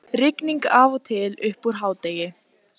Rigning af og til uppúr hádegi